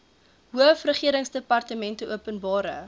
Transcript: hoof regeringsdepartmente openbare